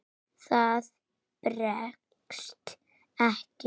Það bregst ekki.